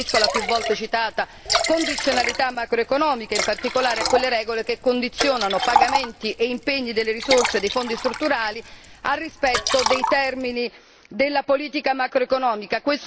Mi riferisco alla più volte citata condizionalità macroeconomica e in particolare a quelle regole che condizionano pagamenti e impegni delle risorse dei Fondi strutturali al rispetto dei termini della politica macroeconomica.